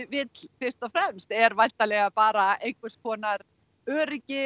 vill fyrst og fremst er væntanlega bara einhvers konar öryggi